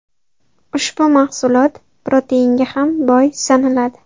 Ushbu mahsulot proteinga ham boy sanaladi.